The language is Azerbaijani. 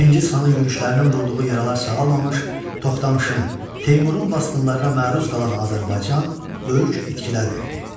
Çingiz xanın yürüşlərinin vurduğu yaralar sağalmamış Toxtamışın, Teymurun basqınlarına məruz qalan Azərbaycan böyük itkilər verdi.